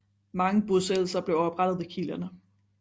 Mange bosættelser blev oprettet ved kilderne